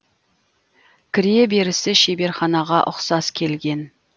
кіре берісі шеберханаға ұқсас келген